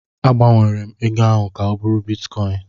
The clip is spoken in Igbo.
A gbanwere m ego ahụ ka ọ bụrụ bitkọin.